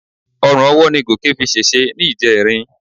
Orun ọwọ́ ni Gòkè fi ṣèṣe ní ìjẹrin.